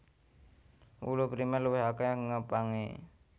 Wulu Primèr luwih akèh ngepangé